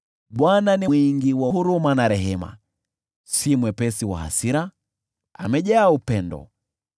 Bwana ni mwingi wa huruma na mwenye neema; si mwepesi wa hasira, bali amejaa upendo.